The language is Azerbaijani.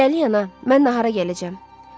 Hələlik Ana, mən nahara gələcəm.